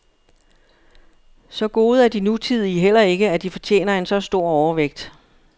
Så gode er de nutidige heller ikke, at de fortjener en så stor overvægt.